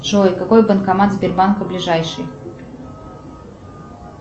джой какой банкомат сбербанка ближайший